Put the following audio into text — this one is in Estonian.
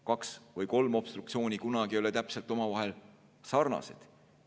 Kaks või kolm obstruktsiooni ei ole kunagi täpselt ühesugused, omavahel sarnased.